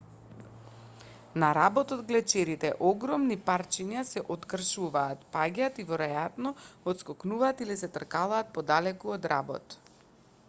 на работ од глечерите огромни парчиња се откршуваат паѓаат и веројатно отскокнуваат или се тркалаат подалеку од работ